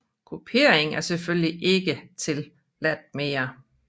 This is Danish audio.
Kupering er selvfølgelig ikke tilladt mere